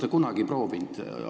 Kas te olete kunagi seda proovinud?